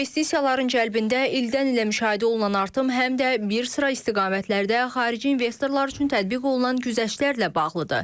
İnvestisiyaların cəlb edildə ildən-ilə müşahidə olunan artım həm də bir sıra istiqamətlərdə xarici investorlar üçün tətbiq olunan güzəştlərlə bağlıdır.